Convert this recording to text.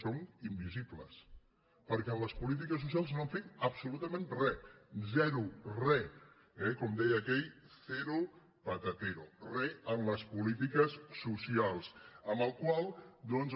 són invisibles perquè en les polítiques socials no han fet absolutament re zero re eh com deia aquell cero patateroles polítiques socials amb la qual cosa